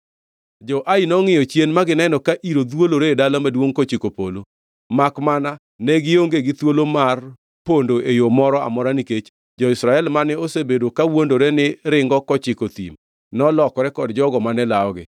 Jo-Ai nongʼiyo chien ma gineno ka iro dhwolore e dala maduongʼ kochiko polo, makmana ne gionge gi thuolo mar pondo e yo moro amora nikech jo-Israel mane osebedo kawuondore ni ringo kochiko thim nolokore kod jogo mane lawogi.